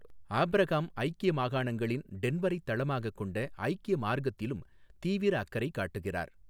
Abraham, ஐக்கிய மாகாணங்களின் டென்வரைத் தளமாகக் கொண்ட ஐக்கிய மார்க்கத்திலும் தீவிர அக்கறை காட்டுகிறார்.